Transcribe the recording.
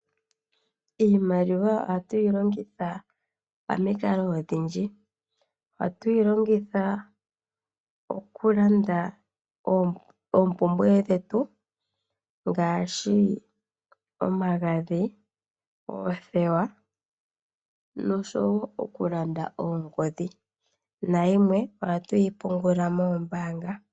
Iimaliwa oha tu yi longitha pamikalo odhindji. Oha tu yi longitha oku landa oompumbwe dhetu ngaashi omagadhi, oothewa nosho wo okulanda oongodhi, nayimwe oha tu yi pungula moombaanga.